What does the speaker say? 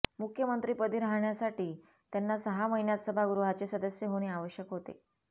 मुख्यमंत्रिपदी राहण्यासाठी त्यांना सहा महिन्यात सभागृहाचे सदस्य होणे आवश्यक होते